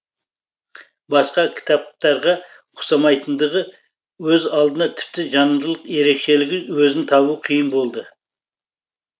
басқа кітаптарға ұқсамайтындығы өз алдына тіпті жанрлық ерекшелігі өзін табу қиын болды